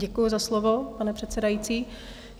Děkuju za slovo, pane předsedající.